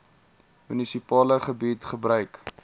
munisipale gebied gebruik